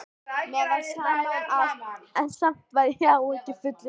Mér var sama um allt, en samt var ég áhyggjufullur.